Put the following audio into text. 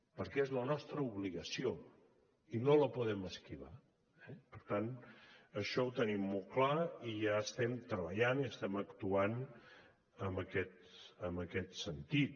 perquè és la nostra obligació i no la podem esquivar eh per tant això ho tenim molt clar i ja estem treballant i estem actuant en aquest sentit